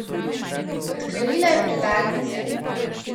Odklenila je predal mize.